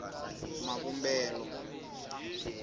mavumbelo